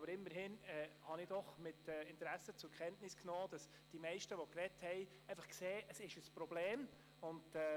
Aber immerhin habe ich doch mit Interesse zur Kenntnis genommen, dass die meisten Redner einsehen, dass es ein Problem ist.